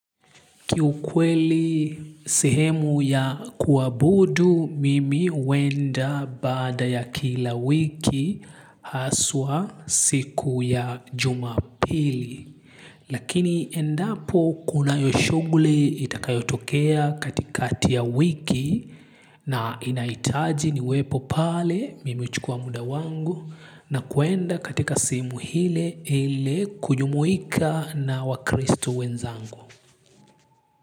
Kiukweli sehemu ya kuabudu mimi huenda baada ya kila wiki haswa siku ya Jumapili. Lakini endapo kunayo shuguli itakayo tokea katikati ya wiki na inahitaji niwe pale mimi huchukua muda wangu na kuenda katika sehemu ile ili kujumuika na wakristo wenzangu.